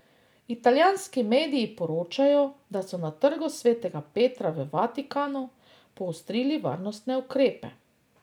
Italijanski mediji poročajo, da so na Trgu svetega Petra v Vatikanu poostrili varnostne ukrepe.